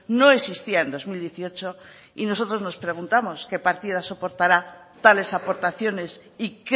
no existía en dos mil dieciocho y nosotros nos preguntamos qué partida soportará tales aportaciones y